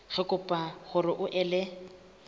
re kopa hore o ele